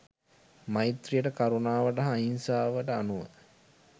මෛත්‍රීයට කරුණාවට හා අහිංසාවට අනුව